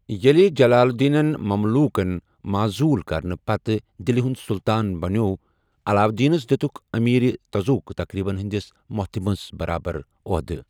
ییٚلہِ جلال الدینن مملوکَن معزوُل کرنہٕ پتہٕ دِلہِ ہُنٛد سُلطان بنٛیوٚو، علاؤالدینَس دِیتُک امیرِ تزوک تقریبن ہندِِس مٗحتِمس برابر اوحدٕ۔